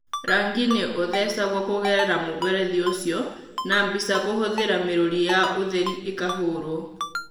Rangi nĩ ũthecagwo kũgerera mũberethi ũcio na mbica kũhũthĩra mĩrũri ya ũtheri ĩkahũrwo.